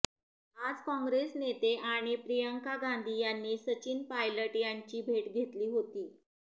आज काँग्रेस नेते आणि प्रियांका गांधी यांनी सचिन पायलट यांची भेट घेतली होती